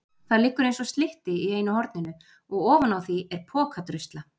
Það liggur einsog slytti í einu horninu og ofaná því er pokadrusla.